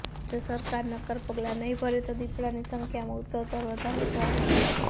જો સરકાર નક્કર પગલા નહીં ભરે તો દીપડાની સંખ્યામાં ઉત્તરોત્તર વધારો જોવા મળશે